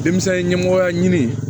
Denmisɛnnin ɲɛmɔgɔya ɲini